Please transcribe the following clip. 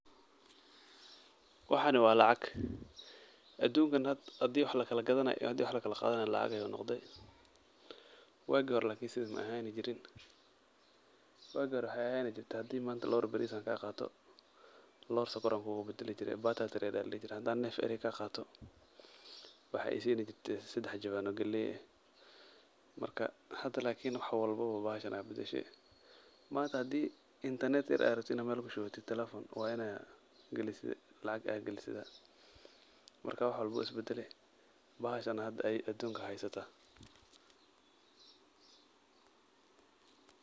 Waxan wa lacag aduunkan hada wax lagthanay iyo handi wax laqathany lacag ayu noqday wagi hori sethan maahni jeerin, wagi hori waxa ahani jeeray handi manta loor baris ankaqatoh loor sonkor Aya kugu badali jeray barter trade Aya ladehi jeeray handi need ari kaqatoh waxa isini jertay sedax Jawan oo kalay aah, marka hada waxwalbo bahashan Aya badashay manta handib internet aragteed telephone wa Ina kalesoh lacag marka waxwalbo wuu isbadalay bahashan Aya aduunkan haystah.